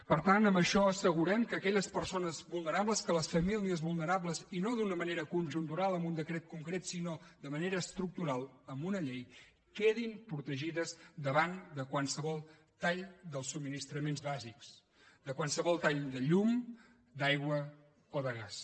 per tant amb això assegurem que aquelles persones vulnerables que les famílies vulnerables i no d’una manera conjuntural amb un decret concret sinó de manera estructural amb una llei quedin protegides davant de qualsevol tall dels subministraments bàsics de qualsevol tall de llum d’aigua o de gas